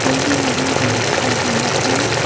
कोई भी नहीं है इस वक्त यहां पे।